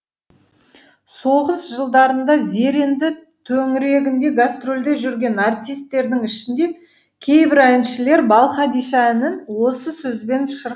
соғыс жылдарында зеренді төңірегінде гастрольде жүрген артистердің ішінде кейбір әншілер балқадиша әнін осы сөзбен шыр